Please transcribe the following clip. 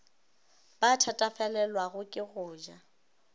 ba thatafalelwago ke go ja